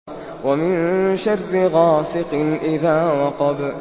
وَمِن شَرِّ غَاسِقٍ إِذَا وَقَبَ